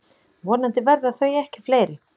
Vonandi verða þau ekki fleiri.